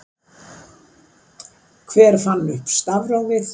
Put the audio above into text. hver fann upp stafrófið